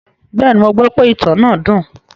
Bẹ́ẹ̀ni, mo gbọ́ pe ìtàn náà dùn.